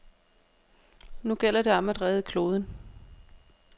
Nu gælder det om at redde kloden.